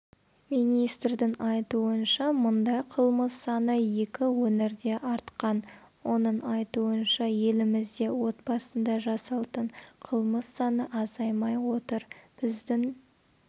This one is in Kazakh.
министрдің айтуынша мұндай қылмыссаны екі өңірдеартқан оның айтуынша елімізде отбасында жасалтын қылмыс саны азаймай отыр біздің